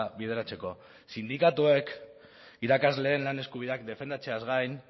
bideratzeko sindikatuek irakasleen lan eskubideak defendatzeaz gain